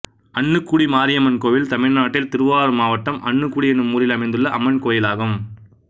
அன்னுக்குடி மாரியம்மன் கோயில் தமிழ்நாட்டில் திருவாரூர் மாவட்டம் அன்னுக்குடி என்னும் ஊரில் அமைந்துள்ள அம்மன் கோயிலாகும்